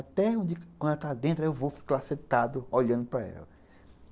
Até um dia, quando ela está dentro, eu vou ficar lá sentado, olhando para ela.